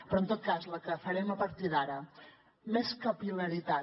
però en tot cas la que farem a partir d’ara més capil·laritat